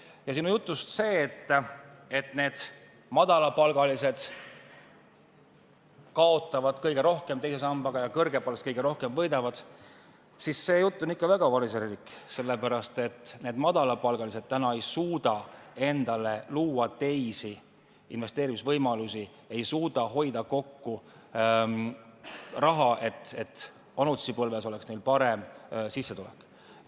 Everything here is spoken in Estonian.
Ja see osa sinu jutust, et madalapalgalised kaotavad teise sambaga kõige rohkem ja kõrgepalgalised võidavad kõige rohkem, on ikka väga variserlik, sellepärast et need madalapalgalised ei suuda täna luua endale teisi investeerimisvõimalusi, nad ei suuda hoida kokku raha, et neil vanaduspõlves oleks parem sissetulek.